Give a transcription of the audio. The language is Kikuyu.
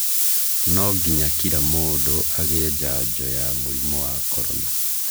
Nonginya kila mũndũ agĩe njanjo ya mũrimũ wa korona